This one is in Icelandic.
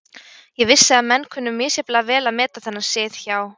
Ég vissi að menn kunnu misjafnlega vel að meta þennan sið hjá